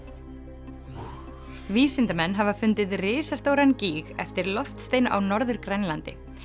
vísindamenn hafa fundið risastóran gíg eftir loftstein á Norður Grænlandi